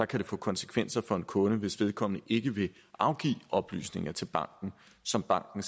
kan få konsekvenser for en kunde hvis vedkommende ikke vil afgive de oplysninger til banken som banken